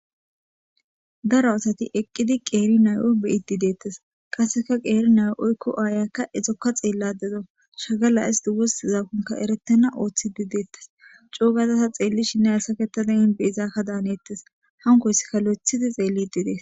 Daro asati eqqidi qeeri nay7o beyidi deettas qasseka qeeri nay oykko aayakka esokka xeelladeda shagala isti wosi zakonka erettena ooththidi deettes cuugazasa xeelli shinne asaketada inbe izaakka daanettes hankoysseka lo7ethidi xeellidi dees.